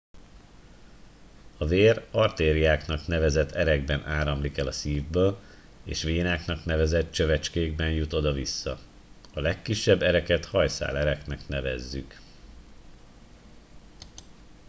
a vér artériáknak nevezett erekben áramlik el a szívből és vénáknak nevezett csövecskékben jut oda vissza a legkisebb ereket hajszálereknek nevezzük